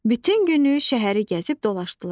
Bütün günü şəhəri gəzib dolaşdılar.